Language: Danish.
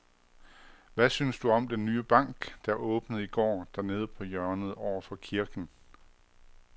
Hvad synes du om den nye bank, der åbnede i går dernede på hjørnet over for kirken?